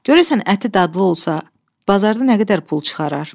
Görəsən əti dadlı olsa, bazarda nə qədər pul çıxarar?